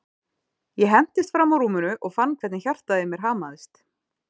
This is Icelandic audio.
Ég hentist fram úr rúminu og fann hvernig hjartað í mér hamaðist.